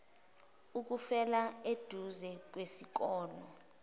ukufela eduze kwesikole